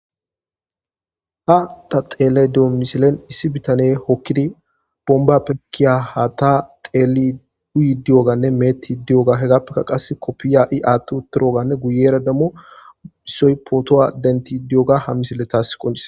Ha ta xeeley doo misilen issi bitane hokkidi bomba pekiya ha ta xeeli duyi diyoganne meetti diyoga hegappekka qas koppiya'i aatti utorooganne guyera dammo hissoy pooto'a denti diyoga ha misile taass qonise.